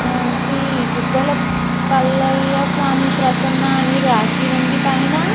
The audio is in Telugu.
ఆ శ్రీ ఇటుకల పల్లయ్య స్వామి ప్రసన్న అని రాసి ఉంది పైన --